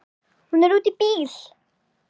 Hún er úti í bíl!